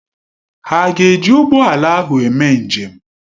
Ha ga-eji ụgbọ ala ahụ eme njem?